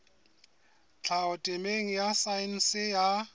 tlhaho temeng ya saense ya